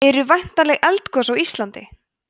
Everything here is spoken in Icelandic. eru væntanleg eldgos á íslandi